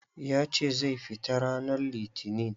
Ya ce zai fita ranan litinin.